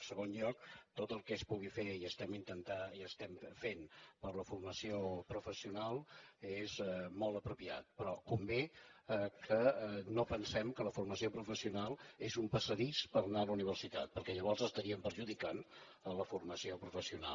en segon lloc tot el que es pugui fer i estem intentant i estem fent per la formació professional és molt apropiat però convé que no pensem que la formació professional és un passadís per anar la universitat perquè llavors estaríem perjudicant la formació professional